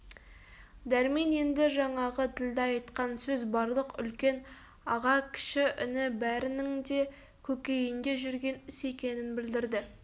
дәрмен енді жаңағы ділдә айтқан сөз барлық үлкен аға кіші іні бәрінің де көкейінде жүрген іс екенін білдірді